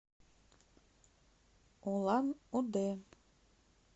улан удэ